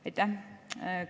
Aitäh!